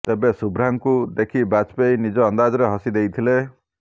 ତେବେ ଶୁଭ୍ରାଙ୍କୁ ଦେଖି ବାଜପେୟୀ ନିଜ ଅନ୍ଦାଜରେ ହସି ଦେଇଥିଲେ